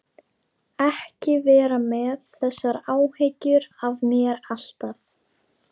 Ekki vera með þessar áhyggjur af mér alltaf!